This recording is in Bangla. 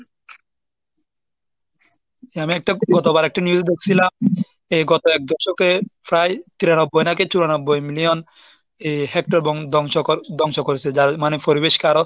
আমি একটা গতবার একটা news দেখছিলাম, এই গত এক দশকে প্রায় তিরানব্বই নাকি চুরানব্বই million এই হেক্টর এবং ধ্বংস কর ধ্বংস করেছে. যার মানে পরিবেশকে আরও